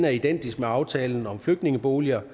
er identisk med aftalen om flygtningeboliger